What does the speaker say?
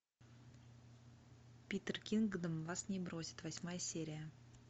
питер кингдом вас не бросит восьмая серия